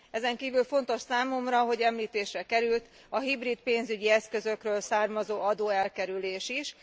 Ezenkívül fontos számomra, hogy említésre került a hibrid pénzügyi eszközökről származó adóelkerülés is.